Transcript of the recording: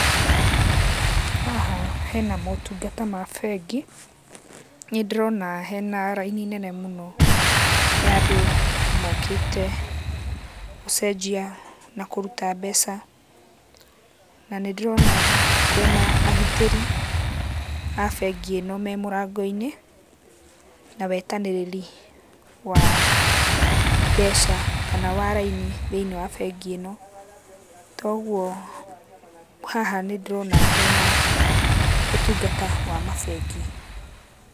Haha hena motungata ma bengi. Nĩndĩrona hena raini nene mũno ya andũ mokĩte gũcenjia na kũruta mbeca. Na nĩndĩrona kwĩna agitĩrĩ a bengi ĩno me mũrango-inĩ, na wetanĩrĩri wa mbeca kana wa raini thĩiniĩ wa bengi ĩno. Toguo haha nĩndĩrona hena ũtungata wa mabengi.